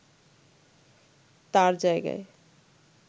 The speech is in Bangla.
তার জায়গায়